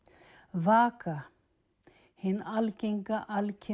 vaka hin algenga